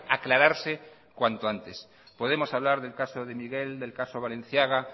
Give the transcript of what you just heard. aclararse cuanto antes podemos hablar del caso de miguel del caso balenciaga